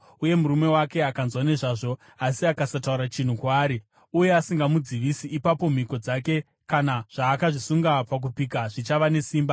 uye murume wake akanzwa nezvazvo asi akasataura chinhu kwaari uye asingamudzivisi, ipapo mhiko dzake kana zvaakazvisunga pakupika zvichava nesimba.